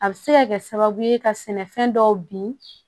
A bɛ se ka kɛ sababu ye ka sɛnɛfɛn dɔw bin